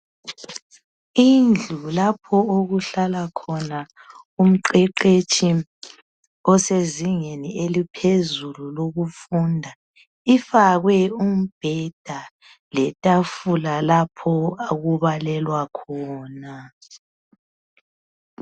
Indlu lapho okuhlala khona umqeqetshi osezingeni eliphezulu lokufunda, ifakwe umbheda letafula lapho okubalelwa khona.